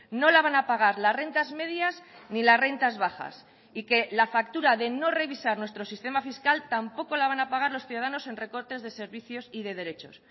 no la van a pagar las rentas medias ni las rentas bajas y que la factura de no revisar nuestro sistema fiscal tampoco la van a pagar los ciudadanos en recortes de servicios y de derechos